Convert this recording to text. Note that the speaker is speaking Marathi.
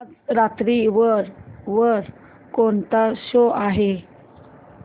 आज रात्री वर कोणता शो आहे